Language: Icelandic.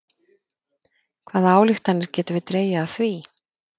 Hvaða ályktanir getum við dregið af því?